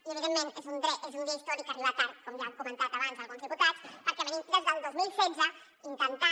i evidentment és un dia històric que arriba tard com ja han comentat abans alguns diputats perquè estem des del dos mil setze intentant